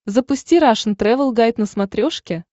запусти рашн тревел гайд на смотрешке